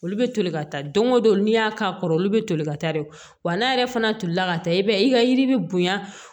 Olu bɛ toli ka taa don o don n'i y'a k'a kɔrɔ olu bɛ toli ka taa dɛ wa n'a yɛrɛ fana tolila ka taa i b'a ye i ka yiri bi bonya